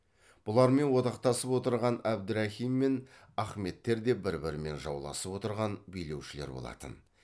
бұлармен одақтасып отырған әбдірахим мен ахметтер де бір бірімен жауласып отырған билеушілер болатын